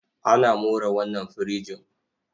Ana more wannan firijin.